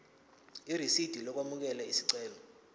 irisidi lokwamukela isicelo